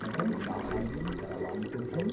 कथं साहाय्यं करवाणि तुभ्यम्?